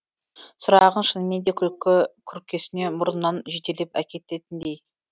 сұрағың шынымен де күлкі күркесіне мұрныңнан жетелеп әкететіндей